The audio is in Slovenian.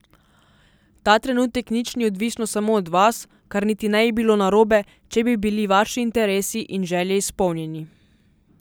Ta trenutek nič ni odvisno samo od vas, kar niti ne bi bilo narobe, če bi bili vaši interesi in želje izpolnjeni.